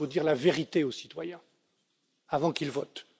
C'est qu'il faut dire la vérité aux citoyens avant qu'ils votent.